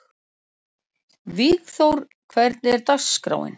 Vígþór, hvernig er dagskráin?